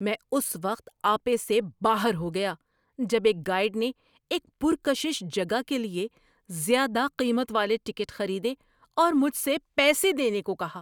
میں اس وقت آپے سے باہر ہو گیا جب ایک گائیڈ نے ایک پرکشش جگہ کے لیے زیادہ قیمت والے ٹکٹ خریدے اور مجھ سے پیسے دینے کو کہا۔